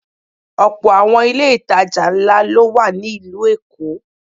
Ọ̀pọ̀ àwọn ilé ìtajà ńlá ló wà ní ìlú Èkó.